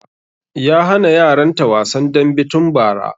Ya hana yaran ta wasan dambe tun bara